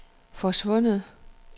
forsvundet